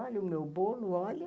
Olha o meu bolo, olha.